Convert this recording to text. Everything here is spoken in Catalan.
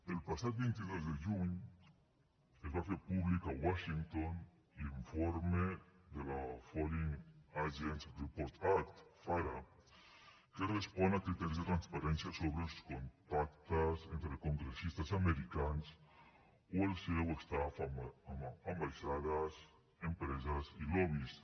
el passat vint dos de juny es va fer públic a washington l’informe de la foreign agents registration act fara que respon a criteris de transparència sobre els contactes entre congressistes americans o el seu staff amb ambaixades empreses i lobbys